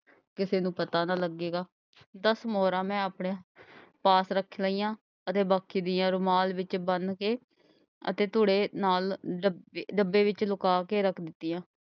ਕਿਸੇ ਨੂੰ ਪਤਾ ਨਾ ਲੱਗੇਗਾ। ਦਸ ਮੋਹਰਾਂ ਮੈਂ ਆਪਣੇ ਪਾਸ ਰੱਖ ਲਈਆਂ ਅਤੇ ਬਾਕੀ ਦੀਆਂ ਰੁਮਾਲ ਵਿੱਚ ਬੰਨ ਕੇ ਅਤੇ ਧੂੜੇ ਨਾਲ ਡੱਬੇ ਵਿੱਚ ਲੁਕਾ ਕੇ ਰੱਖ ਦਿੱਤੀਆਂ।